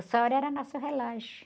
O sol era nosso relógio.